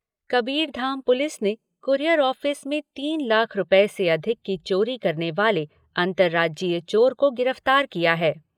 Kabirdham police ने courier office में तीन लाख रूपये से अधिक की चोरी करने वाले अंतर्राज्यीय चोर को गिरफ्तार किया है।